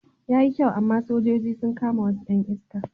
Yayi kyau amma sojoji sun kama wasu 'yan iska.